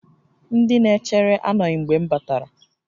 Ndị na-echere anọghị mgbe m batara